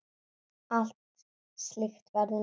Allt slíkt verður nú bannað.